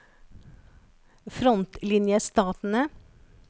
frontlinjestatene